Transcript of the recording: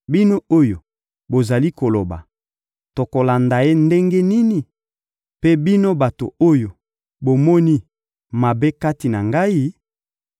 Bino oyo bozali koloba: ‹Tokolanda ye ndenge nini?› Mpe bino bato oyo bomoni mabe kati na ngai,